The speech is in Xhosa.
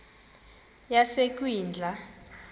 yasekwindla